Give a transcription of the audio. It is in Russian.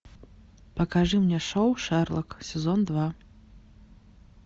покажи мне шоу шерлок сезон два